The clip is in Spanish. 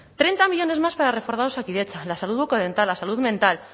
treinta millónes más para reforzar osakidetza la salud bucodental la salud mental